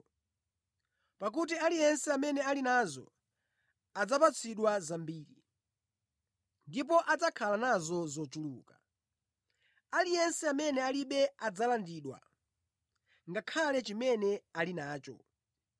Pakuti aliyense amene ali nazo adzapatsidwa zambiri, ndipo adzakhala nazo zochuluka. Aliyense amene alibe adzalandidwa ngakhale chimene ali nacho.